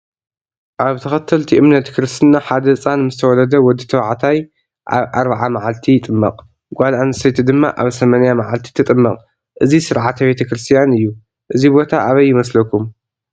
አብ ተከተልቲ እምነት ክርሰትና ሐደ ህፃን ምሰ ተወለደ ወዲተባዕታይ አብ አርባዓ መዓልቲ ይጥመቅ ጋል አነተይቲ ድማ አብ ሰማንያ መዓልቲ ትጥመቅ እዚ ሰርዓተ ቤተክርሰትያን እዮ ። እዚ ቦታ አበይ ይመስለኩም?